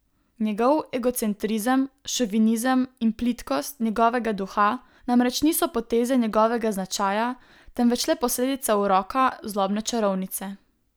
Njegov egocentrizem, šovinizem in plitkost njegovega duha namreč niso poteze njegovega značaja, temveč le posledica uroka zlobne čarovnice.